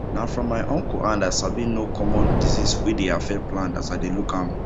na from my uncle hand i sabi know common disease wey dey affect plant as i dey look am